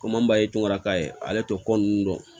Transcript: Kom'an b'a tora k'a ye ale tɛ ko ninnu dɔn